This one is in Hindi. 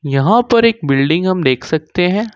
यहां पर एक बिल्डिंग हम देख सकते हैं।